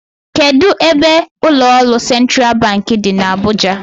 Kedụ ebe ụlọọrụ sentral bank dị n'Abuja?